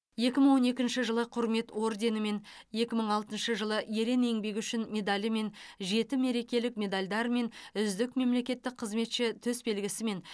екі мың он екінші жылы құрмет орденімен екі мың алтыншы жылы ерен еңбегі үшін медалімен жеті мерекелік медальдармен үздік мемлекеттік қызметші төсбелгісімен